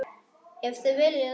Ef þið viljið.